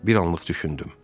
Bir anlıq düşündüm.